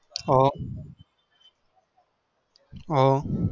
હ